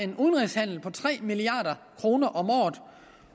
en udenrigshandel på tre milliard kroner om året